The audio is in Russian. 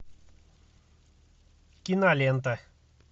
кинолента